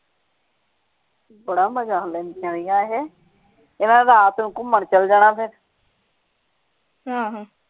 ਬੜਾ ਮਜਾ ਆਂਦਾ ਨਾ ਇਹੇ ਇਹਨਾਂ ਨੇ ਰਾਤ ਨੂੰ ਘੁੰਮਣ ਚੱਲ ਜਾਣਾ ਫੇਰ